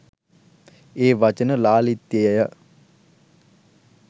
ඒ වචන ලාලිත්‍යය ය.